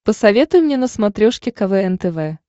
посоветуй мне на смотрешке квн тв